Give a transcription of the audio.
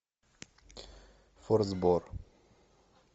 форсбор